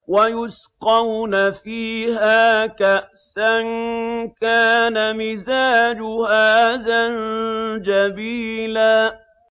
وَيُسْقَوْنَ فِيهَا كَأْسًا كَانَ مِزَاجُهَا زَنجَبِيلًا